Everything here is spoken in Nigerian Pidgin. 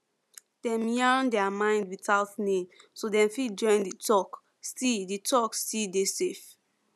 dem yarn their mind without name so dem fit join the talk still the talk still dey safe